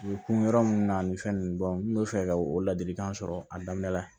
U kun yɔrɔ mun na nin fɛn nunnu n bɛ fɛ ka o ladilikan sɔrɔ a daminɛ la